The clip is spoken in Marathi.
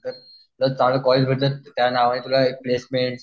जर चांगलं कॉलेज भेटलं तर त्या नावाने तुला प्लेसमेंट